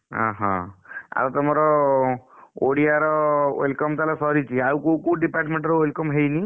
ଅ ହ ଆଉ ତମର ଓଡିଆ ର welcome ସରିଲାଣି? ଆଉ କୋଉ କୋଉ department ର welcome ହେଇନି?